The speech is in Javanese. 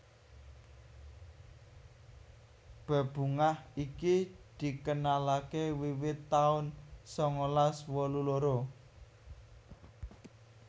Bebungah iki dikenalaké wiwit taun sangalas wolu loro